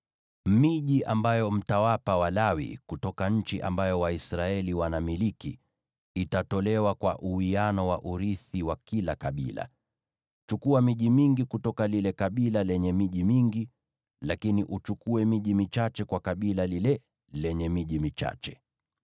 Miji ambayo mtawapa Walawi kutoka nchi ambayo Waisraeli wanamiliki itatolewa kwa uwiano wa urithi wa kila kabila. Chukua miji mingi kutoka lile kabila lenye miji mingi, lakini uchukue miji michache kutoka kwa kabila lile lenye miji michache.”